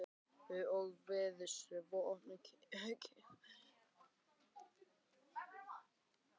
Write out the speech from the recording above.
Við lifum svo opnu kynlífi Ísbjörg.